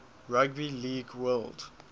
rugby league world